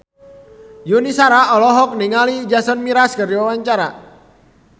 Yuni Shara olohok ningali Jason Mraz keur diwawancara